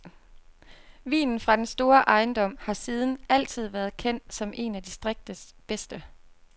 Vinen fra den store ejendom har siden altid været kendt som en af distriktets bedste.